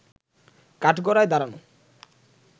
কাঠগড়ায় দাঁড়ানো